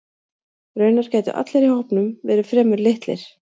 Raunar gætu allir í hópnum verið fremur litlir.